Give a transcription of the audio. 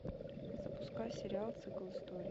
запускай сериал цикл историй